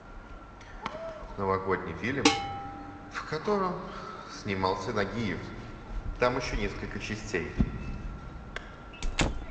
новогодний фильм в котором снимался нагиев там еще несколько частей